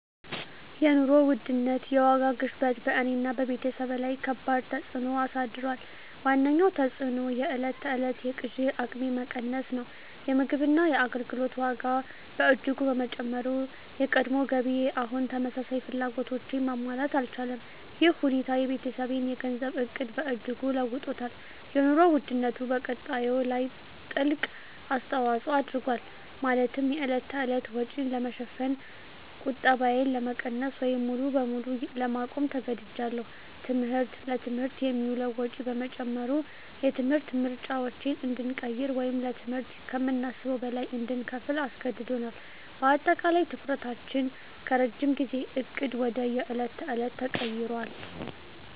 የኑሮ ውድነት (የዋጋ ግሽበት) በእኔና በቤተሰቤ ላይ ከባድ ተፅዕኖ አሳድሯል። ዋነኛው ተፅዕኖ የዕለት ተዕለት የግዢ አቅሜ መቀነስ ነው። የምግብና የአገልግሎት ዋጋ በእጅጉ በመጨመሩ፣ የቀድሞ ገቢዬ አሁን ተመሳሳይ ፍላጎቶችን ማሟላት አልቻለም። ይህ ሁኔታ የቤተሰቤን የገንዘብ ዕቅድ በእጅጉ ለውጦታል - የኑሮ ውድነቱ በቁጠባዬ ላይ ትልቅ አስተዋጽኦ አድርጓል፤ ማለትም የዕለት ተዕለት ወጪን ለመሸፈን ቁጠባዬን ለመቀነስ ወይም ሙሉ በሙሉ ለማቆም ተገድጃለሁ። ትምህርት: ለትምህርት የሚውለው ወጪ በመጨመሩ፣ የትምህርት ምርጫዎችን እንድንቀይር ወይም ለትምህርት ከምናስበው በላይ እንድንከፍል አስገድዶናል። በአጠቃላይ፣ ትኩረታችን ከረጅም ጊዜ ዕቅድ ወደ የዕለት ተዕለት ተቀይሯል።